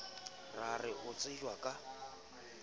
ra re o tsejwa ka